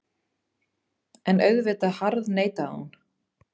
En auðvitað harðneitaði hún.